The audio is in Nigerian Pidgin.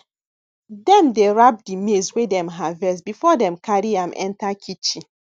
dem dey wrap di maize wey dem harvest before dem carry am enter kitchen